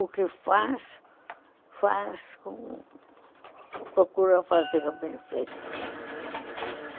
O que faz, faz com... procura fazer bem feito.